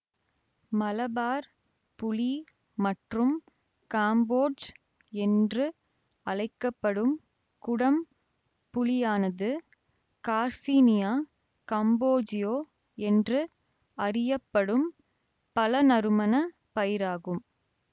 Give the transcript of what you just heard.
மலபார் புளி மற்றும் காம்போட்ஜ் என்று அழைக்க படும் குடம் புளியானது கார்சினியா கம்போஜியோ என்று அறியப்படும் பழநறுமணப் பயிராகும்